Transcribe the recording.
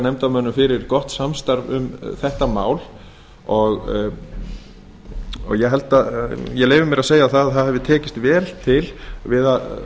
nefndarmönnum fyrir gott samstarf um þetta mál og ég leyfi mér að segja að það hafi tekist vel til við að